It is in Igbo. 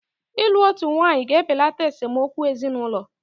Ịlụ otu nwaanyị ga-ebelata esemokwu ezinụlọ.